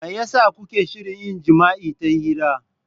Me yasa kuke shirin yin jima'i ta hira?